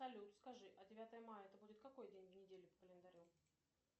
салют скажи а девятое мая это будет какой день недели по календарю